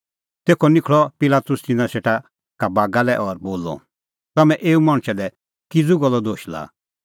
तेखअ निखल़अ पिलातुस तिन्नां सेटा बागा लै और बोलअ तम्हैं एऊ मणछा लै किज़ू गल्लो दोश लाआ